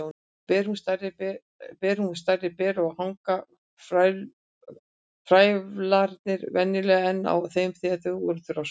Ber hún stærri ber og hanga frævlarnir venjulega enn á þeim þegar þau eru þroskuð.